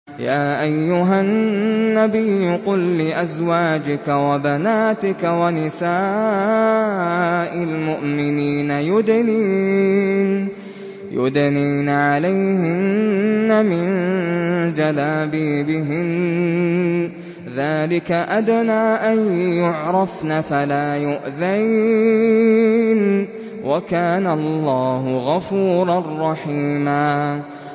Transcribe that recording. يَا أَيُّهَا النَّبِيُّ قُل لِّأَزْوَاجِكَ وَبَنَاتِكَ وَنِسَاءِ الْمُؤْمِنِينَ يُدْنِينَ عَلَيْهِنَّ مِن جَلَابِيبِهِنَّ ۚ ذَٰلِكَ أَدْنَىٰ أَن يُعْرَفْنَ فَلَا يُؤْذَيْنَ ۗ وَكَانَ اللَّهُ غَفُورًا رَّحِيمًا